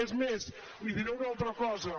és més li diré una altra cosa